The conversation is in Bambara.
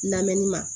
Lamɛnni ma